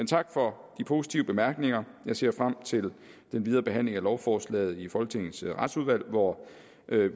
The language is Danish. tak for de positive bemærkninger jeg ser frem til den videre behandling af lovforslaget i folketingets retsudvalg hvor